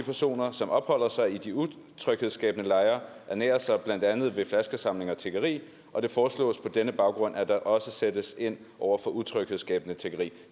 personer som opholder sig i de utryghedsskabende lejre ernærer sig blandt andet ved flaskesamling og tiggeri og det foreslås på denne baggrund at der også sættes ind over for utryghedsskabende tiggeri